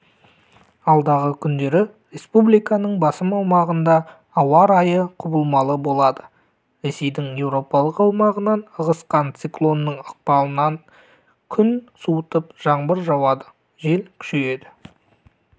алдағы күндері республиканың басым аумағында ауа райы құбылмалы болады ресейдің еуропалық аумағынан ығысқан циклонның ықпалынан күн суытып жаңбыр жауады жел күшейеді